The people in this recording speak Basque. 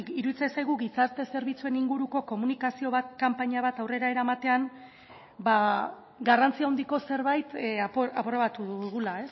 iruditzen zaigu gizarte zerbitzuen inguruko komunikazio kanpaina bat aurrera eramatean garrantzia handiko zerbait aprobatu dugula